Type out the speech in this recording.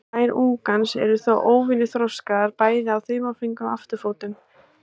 Klær ungans eru þó óvenju þroskaðar, bæði á þumalfingri og afturfótum.